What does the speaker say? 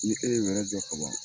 Ni e ye wɛrɛ jɔ kaban.